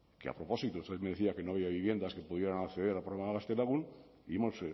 que a propósito usted me decía que no había viviendas que pudieran acceder al programa gaztelagun y hemos